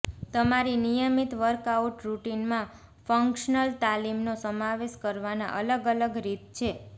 તમારી નિયમિત વર્કઆઉટ રૂટિનમાં ફંક્શનલ તાલીમનો સમાવેશ કરવાના અલગ અલગ રીત છે